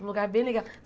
Um lugar bem